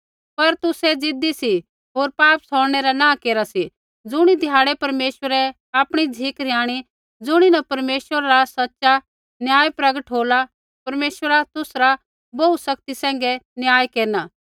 पर तुसै ज़िदी सी होर पाप छ़ौड़नै रा नाँह केरा सी ज़ुणी ध्याड़ै परमेश्वरै आपणी झ़िक रिहाणी ज़ुणीन परमेश्वरा रा सच़ा न्याय प्रगट होला परमेश्वरा तुसरा बोहू सख्ती सैंघै न्याय केरना